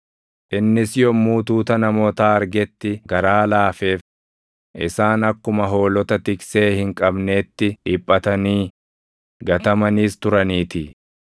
Innis yommuu tuuta namootaa argetti garaa laafeef; isaan akkuma hoolota tiksee hin qabneetti dhiphatanii, gatamaniis turaniitii.